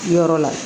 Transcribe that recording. Yɔrɔ la